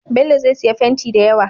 Bello zai siya fenti dayawa